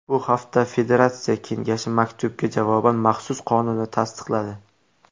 Bu haftada Federatsiya kengashi maktubga javoban maxsus qonunni tasdiqladi.